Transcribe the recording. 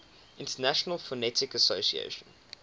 international phonetic association